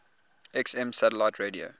xm satellite radio